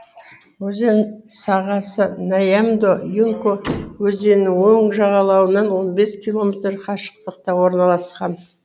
өзен сағасы нямдо юнко өзенінің оң жағалауынан он бес километр қашықтықта орналасқан